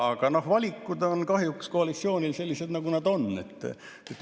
Aga valikud on koalitsioonil kahjuks sellised, nagu nad on.